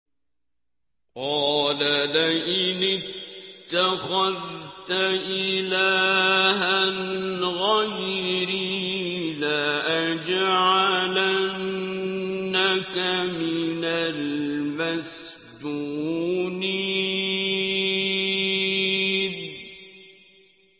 قَالَ لَئِنِ اتَّخَذْتَ إِلَٰهًا غَيْرِي لَأَجْعَلَنَّكَ مِنَ الْمَسْجُونِينَ